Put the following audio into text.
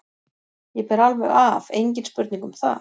Ég ber alveg af, engin spurning um það.